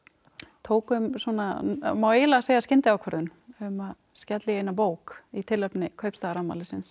tókum svona má eiginlega segja skyndiákvörðun um að skella í eina bók í tilefni